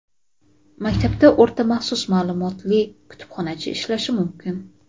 maktabda o‘rta maxsus maʼlumotli kutubxonachi ishlashi mumkin.